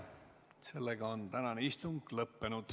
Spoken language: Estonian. Sellega on tänane istung lõppenud.